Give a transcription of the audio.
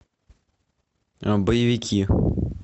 боевики